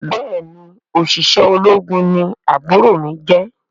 Béèni oṣiṣẹ ológun ní àbúrò mí jẹ.